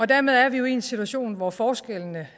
dermed er vi jo i en situation hvor forskellene